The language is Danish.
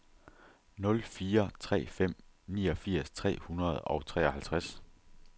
nul fire tre fem niogfirs tre hundrede og treoghalvtreds